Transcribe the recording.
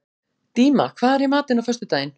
Díma, hvað er í matinn á föstudaginn?